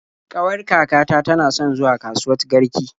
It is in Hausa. Ƙawar kakata tana son zuwa kasuwat Garki.